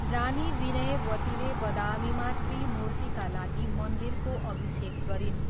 रानी विनयवतीले बदामीमा त्रिमूर्तिका लागि मन्दिरको अभिषेक गरिन्।